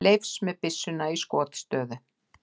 Leifs með byssuna í skotstöðu.